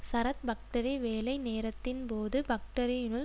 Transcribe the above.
Sarath factory வேலை நேரத்தின் போது பக்டரியினுள்